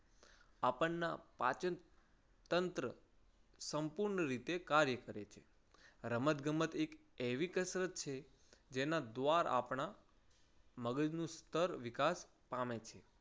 આપણ ના પાચન તંત્ર સંપૂર્ણ રીતે કાર્ય કરે છે. રમતગમત એક એવી કસરત છે જેના દ્વાર આપણા મગજનું સ્તર વિકાસ પામે છે.